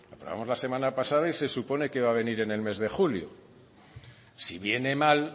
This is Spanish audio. lo aprobamos la semana pasada y se supone que va a venir en el mes de julio si viene mal